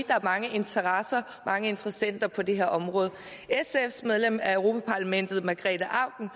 der er mange interesser og mange interessenter på det her område sfs medlem af europa parlamentet margrete auken